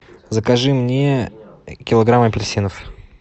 закажи мне килограмм апельсинов